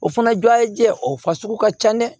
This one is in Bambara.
O fana jɔ ye jɛ o fa sugu ka ca dɛ